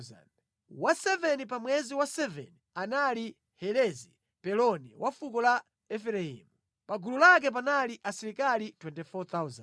Wa 7 pa mwezi wa 7 anali Helezi Mpeloni wa fuko la Efereimu. Pa gulu lake panali asilikali 24,000.